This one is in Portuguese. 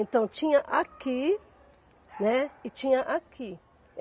Então tinha aqui, né, e tinha aqui.